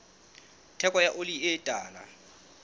theko ya oli e tala